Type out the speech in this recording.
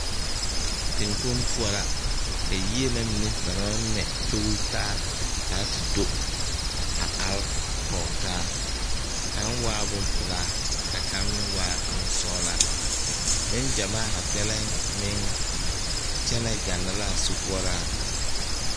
Teŋkpoŋ poɔ la ka yie na mine ba naŋ maŋ mɛ tutaa ka a te do are kɔgetaa kaŋ waa bompelaa ka kaŋ meŋ waa boŋ sɔglaa neŋ gyamaa zaa kpɛlɛm meŋ kyɛnɛ gana la a sokoɔraa.